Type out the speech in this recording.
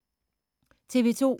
TV 2